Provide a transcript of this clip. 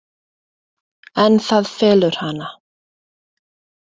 En það felur hana.